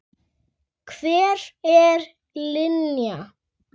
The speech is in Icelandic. Hver er Linja?